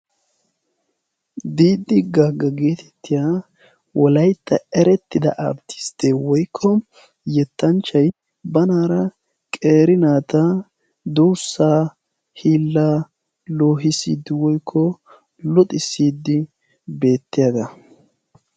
"diiddi gaagga" geetettiya walaitta erettida arttisttee woykko yettanchchay banaara qeeri naata durssaa hiilla loohisidi woykko luxissidi beettiyaagaa.